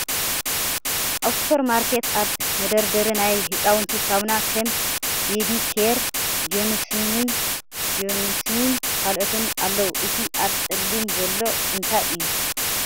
ኣብ ሓደ ሱፐር ማርኬት ኣብ መደርደሪ ናይ ህፃውንቲ ሳሙና ከም ቤቢ ኬር፣ ጆንሰንን ካልኦትን ኣለዉ እቲ ኣብ ፀሊም ዘሎእንታይ እዩ ?